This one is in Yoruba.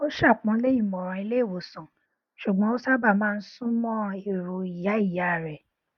ó ṣàpọnlé ìmọràn ilé ìwòsàn ṣùgbọn ó sábà má n súnmọ ẹrọ ìyá ìyá rẹ